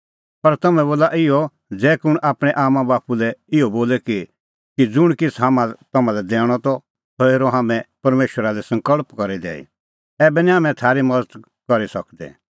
पर तम्हैं बोला इहअ ज़ै कुंण आपणैं आम्मांबाप्पू लै इहअ बोले कि ज़ुंण किछ़ हाम्हां तम्हां लै दैणअ त सह हेरअ हाम्हैं परमेशरा लै सकल़्प करी दैई ऐबै निं हाम्हैं थारी मज़त करी सकदै